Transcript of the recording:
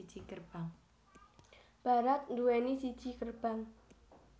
Barat duwéni siji gerbang